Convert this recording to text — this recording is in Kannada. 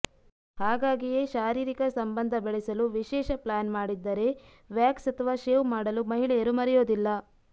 ಹಾಗಾಗಿಯೇ ಶಾರೀರಿಕ ಸಂಬಂಧ ಬೆಳೆಸಲು ವಿಶೇಷ ಪ್ಲಾನ್ ಮಾಡಿದ್ದರೆ ವ್ಯಾಕ್ಸ್ ಅಥವಾ ಶೇವ್ ಮಾಡಲು ಮಹಿಳೆಯರು ಮರೆಯೋದಿಲ್ಲ